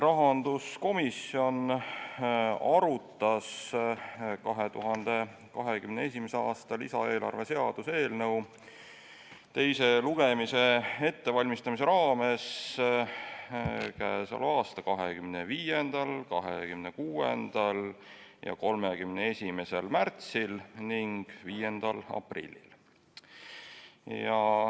Rahanduskomisjon arutas 2021. aasta lisaeelarve seaduse eelnõu teise lugemise ettevalmistamise raames k.a 25., 26. ja 31. märtsil ning 5. aprillil.